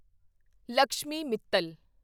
Lakshmi Mittal